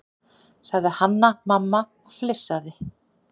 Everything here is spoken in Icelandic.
sagði Hanna-Mamma og flissaði.